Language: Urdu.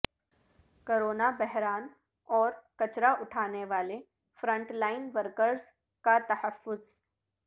کرونا بحران اور کچرا اٹھانے والے فرنٹ لائن ورکرز کا تحفظ